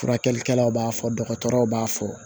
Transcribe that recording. Furakɛlikɛlaw b'a fɔ dɔgɔtɔrɔw b'a fɔ